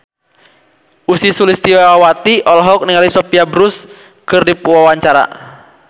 Ussy Sulistyawati olohok ningali Sophia Bush keur diwawancara